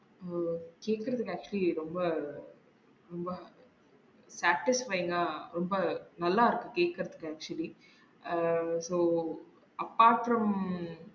ஓ சீக்குரம் எனக்கு actually ரொம்ப இல்ல practice train ஆஹ் ரொம்ப நல்லா இருக்கு கேக்குறதுக்கு actually அஹ் so apart from